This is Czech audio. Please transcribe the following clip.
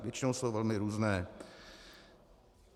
Většinou jsou velmi různé.